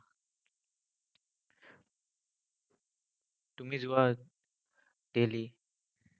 তুমি যোৱা daily?